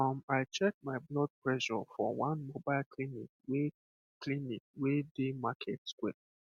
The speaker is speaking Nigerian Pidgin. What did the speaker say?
um i check my blood pressure for one mobile clinic wey clinic wey dey market square